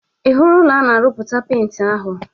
Ị hụrụ ụlọ a na-arụpụta penti ahụ?